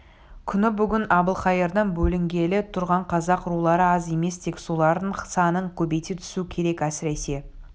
күні бүгін әбілқайырдан бөлінгелі тұрған қазақ рулары аз емес тек солардың санын көбейте түсу керек әсіресе